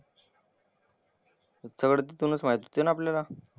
सगळं तिथूनच माहित होते ना आपल्याला.